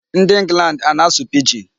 Ndị England ana-asụ Pidgin?